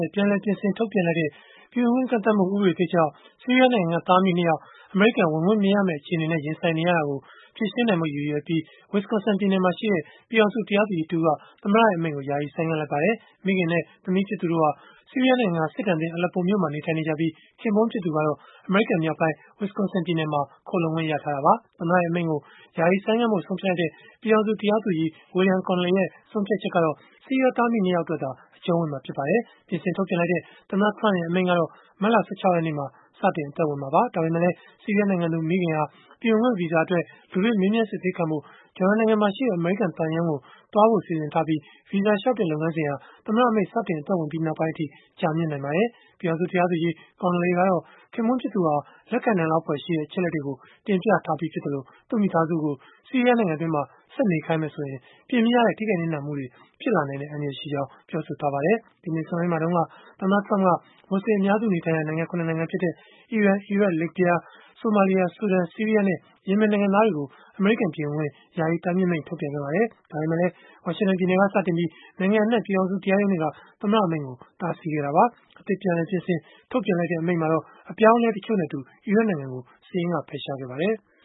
ရဲ့ ပြန်လည်ပြင်ဆင် ထုတ်ပြန်လိုက်တဲ့ ပြည်ဝင်ခွင့် ကန့်သတ်မှု ဥပဒေသစ်ကြောင့်၊ ဆီးရီးယား နိုင်ငံက သားအမိ ၂ ယောက် အမေရိကန် ဝင်ခွင့်မရမယ့် အခြေအနေနဲ့ ရင်ဆိုင်နေရတာကို ဖြေရှင်းနိုင်ဖို့ ရည်ရွယ်ပြီး၊ Wisconsin ပြည်နယ်မှာရှိတဲ့ ပြည်ထောင်စုတရားသူကြီး တဦးက သမ္မတရဲ့ အမိန့်ကို ယာယီဆိုင်းငံ့လိုက်ပါတယ်။ မိခင်နဲ့ သမီးဖြစ်သူတို့ ၂ ဦးဟာ ဆီးရီးယားနိုင်ငံက စစ်ဒဏ်သင့် Aleppo မြို့မှာနေထိုင်နေ ကြပြီး၊ ခင်ပွန်းဖြစ်သူ ကတော့ အမေရိကန်မြောက်ပိုင်း Wisconsin ပြည်နယ်မှာ ခိုလှုံခွင့် ရထားတာပါ။ သမ္မတရဲ့ အမိန့်ကို ယာယီဆိုင်းငံ့ဖို့ ဆုံးဖြတ်လိုက်တဲ့ ပြည်ထောင်စု တရားသူကြီး William Conley ရဲ့ ဆုံးဖြတ်ချက်ကတော့ ဆီးရီးယား သားအမိ ၂ ယောက် အတွက်သာ အကျုံးဝင်မှာ ဖြစ်ပါတယ်။ ပြင်ဆင်ထုတ်ပြန်လိုက်တဲ့ သမ္မတ Trump ရဲ့ အမိန့်ကတော့ မတ်လ ၁၆ ရက်နေ့မှာ စတင် မှာပါ။ ဒါပေမဲ့လည်း ဆီးရီးယားနိုင်ငံသူ မိခင်ဟာ ပြည်ဝင်ခွင့် ဗီဇာအတွက် လူတွေ့မေးမြန်း စစ်ဆေးခံဖို့ ဂျော်ဒန်နိုင်ငံက အမေရိကန်သံရုံးကို သွားဖို့ စီစဉ်ထားပြီး၊ ဗီဇာလျှောက်တဲ့ လုပ်ငန်းစဉ်ဟာ သမ္မတ အမိန့်စတင် အသက်ဝင်ပြီး နောက်ပိုင်းအထိ ကြာမြင့်နိုင် ပါတယ်။ ပြည်ထောင်စု တရားသူကြီး Conley ကတော့ ခင်ပွန်း ဖြစ်သူဟာ လက်ခံနိုင်လောက် ဖွယ်ရှိတဲ့ အချက်အလက်တွေကို တင်ပြထားပြီး ဖြစ်သလို၊ သူ့မိသားစု ကို ဆီးရီးယားနိုင်ငံ တွင်းမှာပဲ ဆက်နေခိုင်း မယ်ဆိုရင် ပြင်မရတဲ့ ထိခိုက်နစ်နာ မှုတွေ ဖြစ်လာနိုင်တဲ့ အန္တရာယ်ရှိကြောင်း ပြောဆို ထားပါတယ်။ ဒီနှစ်ဆန်းပိုင်းမှာ တုန်းက သမ္မတ Trump က မူဆလင်အများစုနေထိုင်ရာ နိုင်ငံ ၇ နိုင်ငံ ဖြစ်တဲ့ အီရန်၊ အီရတ်၊ လစ်ဗျား၊ ဆိုမာလီယာ၊ ဆူဒန်၊ ဆီးရီးယား နဲ့ ယီမင် နိုင်ငံ သားတွေကို အမေရိကန်ကို ပြည်ဝင်ခွင့် ယာယီတားမြစ်မိန့် ထုတ်ပြန်ခဲ့ပါတယ်။ ဒါပေမဲ့လည်း ဝါရှင်တန်ပြည်နယ်က စတင်ပြီး၊ နိုင်ငံအနှံ့ ပြည်ထောင်စု တရားရုံးတွေက သမ္မတ အမိန့်ကို တားဆီးခဲ့တာပါ။ အသစ်ပြင်ဆင် ထုတ်ပြန်လိုက်တဲ့ အမိန့်မှာတော့ အပြောင်းအလဲ တချို့နဲ့အတူ အီရတ်နိုင်ငံကို စာရင်းကဖယ်ရှားခဲ့ပါတယ်။